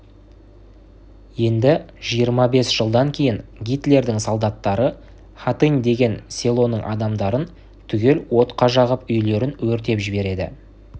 енді жиырма бес жылдан кейін гитлердің солдаттары хатынь деген селоның адамдарын түгел отқа жағып үйлерін өртеп жібереді